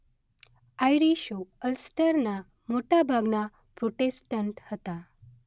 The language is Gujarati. આઈરિશો અલ્સટરના મોટાભાગના પ્રોટેસ્ટન્ટ હતા.